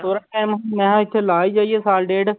ਥੋੜ੍ਹਾ time ਮੈਂ ਇੱਥੇ ਲਾ ਹੀ ਜਾਈਏ ਸਾਲ ਡੇਢ।